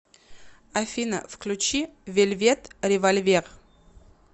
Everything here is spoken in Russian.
афина включи вельвет револьвер